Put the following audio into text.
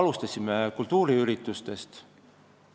Alustasime kultuuriüritustest.